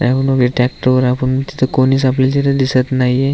Tractor वर आपण तिथ कोणीच आपल्याला तिथ दिसत नाहीय.